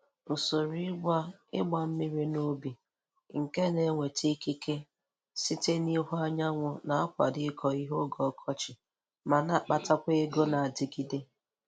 Usoro ịgba ịgba mmiri n'ubi nke na-enweta ikike site n'ihu anyanwụ na-akwado ịkọ ihe oge ọkọchị ma na-akpatakwa ego na-adịgide.